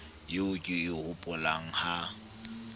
eo ke e hopolang ha